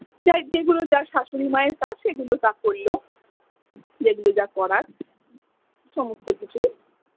যেগুলো যার শাশুড়ি মায়ের কাজ সেগুলো তা করলো যেগুলো যা করার সমস্ত কিছুই।